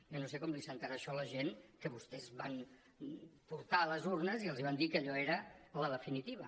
jo no sé com li sentarà això a la gent que vostès van portar a les urnes i els van dir que allò era la definitiva